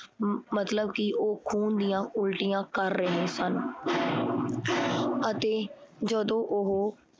ਮਤਲਬ ਕੀ ਉਹ ਖੂਨ ਦੀਆ ਉਲਟੀਆਂ ਕਰ ਰਹੇ ਸਨ ਅਤੇ ਜਦੋਂ ਉਹ